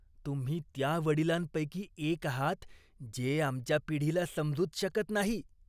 तुम्ही त्या वडिलांपैकी एक आहात जे आमच्या पिढीला समजूच शकत नाही.